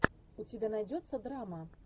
у тебя найдется драма